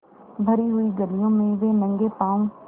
भरी हुई गलियों में वे नंगे पॉँव स्